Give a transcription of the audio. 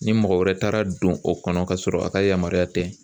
Ni mɔgɔ wɛrɛ taara don o kɔnɔ ka sɔrɔ a ka yamaruya tɛ